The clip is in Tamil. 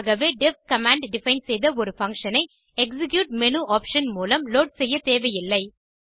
ஆகவே டெஃப் கமாண்ட் டிஃபைன் செய்த ஒரு பங்ஷன் ஐ எக்ஸிக்யூட் மேனு ஆப்ஷன் மூலம் லோட் செய்யத்தேவையில்லை